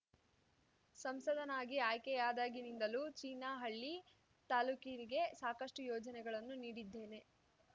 ಸಂಸದನಾಗಿ ಆಯ್ಕೆಯಾದಾಗಿನಿಂದಲೂ ಚಿನಾಹಳ್ಳಿ ತಾಲ್ಲೂಕಿಗೆ ಸಾಕಷ್ಟು ಯೋಜನೆಗಳನ್ನು ನೀಡಿದ್ದೇನೆ